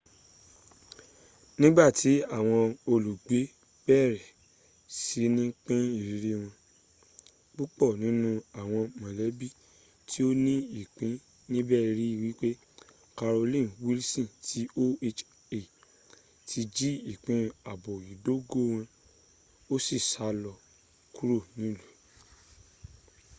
nigbati awon olugbe bere sini pin iriri won pupo ninu awon molebi ti o ni ipin nibe ri wipe carolyn wilson ti oha ti ji ipin aabo idogo won o si sa lo kuro ni ilu